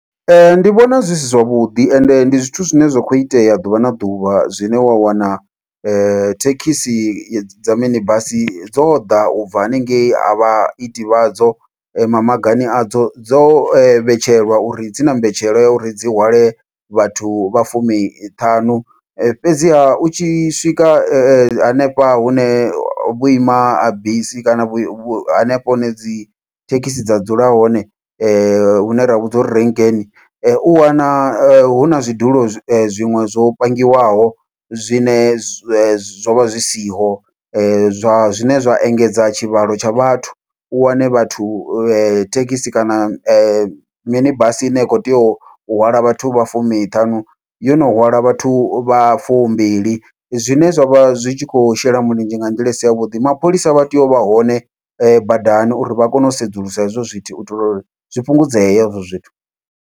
Ee, ndi vhona zwi si zwavhuḓi ende ndi zwithu zwine zwa kho itea ḓuvha na ḓuvha, zwine wa wana thekhisi dza mini basi dzo ḓa ubva hanengei havha iti vhadzo ma magani adzo dzo vhetshelwa uri dzi na mbetshela ya uri dzi hwale vhathu vha fumi ṱhanu, fhedziha u tshi swika hanefha hune vhuima bisi kana vhu hanefha hune dzi thekhisi dza dzula hone, hune ra hu vhidza uri renkeni u wana huna zwidulo zwiṅwe zwo pangiwaho zwine zwe zwovha zwi siho zwa zwine zwa engedza tshivhalo tsha vhathu. U wane vhathu dzithekhisi kana mini basi ine ya khou tea u hwala vhathu vha fumi ṱhanu yono hwala vhathu vha fumbili, zwine zwavha zwitshikho shela mulenzhe nga nḓila isi yavhuḓi mapholisa vha tea uvha hone badani uri vha kone u sedzulusa hezwo zwithu uitela uri zwi fhungudzeye hezwo zwithu.